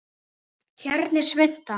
Hérna er svunta